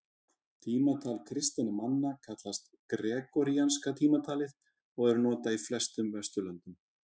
tímatal kristinna manna kallast gregoríanska tímatalið og er notað í flestum vesturlöndum